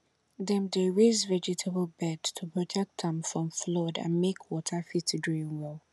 dem dey raise vegetable bed to protect am from flood and make water fit drain well